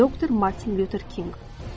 Doktor Martin Luther King.